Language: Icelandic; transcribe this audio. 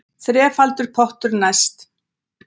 Þrefaldur pottur næst